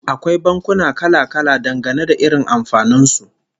Akwai bankuna kala-kala, dangane da irin amfanin su